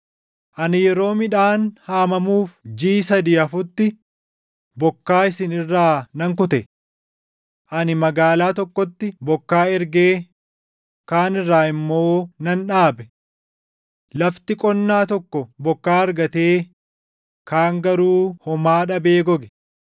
“Ani yeroo midhaan haamamuuf jiʼi sadii hafutti bokkaa isin irraa nan kute. Ani magaalaa tokkotti bokkaa ergee kaan irraa immoo nan dhaabe. Lafti qonnaa tokko bokkaa argatee kaan garuu homaa dhabee goge.